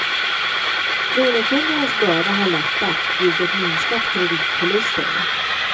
Lånekundernas börda har lättat, vilket minskat kreditförlusterna.